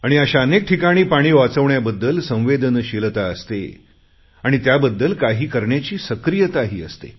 आणि अशा ठिकाणी पाणी वाचवण्याबद्दल संवेदनशीलता असते आणि त्याबद्दल काही करण्याची सक्रीयताही असते